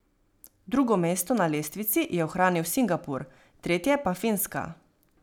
Drugo mesto na lestvici je ohranil Singapur, tretje pa Finska.